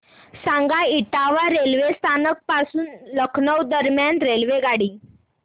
सांगा इटावा रेल्वे स्थानक पासून लखनौ दरम्यान रेल्वेगाडी